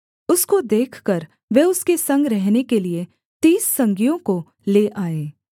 उसको देखकर वे उसके संग रहने के लिये तीस संगियों को ले आए